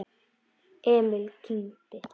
Emil kyngdi.